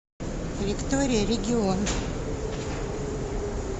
виктория регион